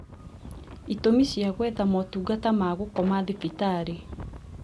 Itũmi cia gwetha motungata ma gũkoma thibitarĩ